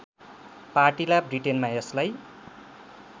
पार्टिला ब्रिटेनमा यसलाई